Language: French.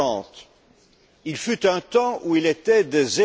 1,30. Il fut un temps où il était de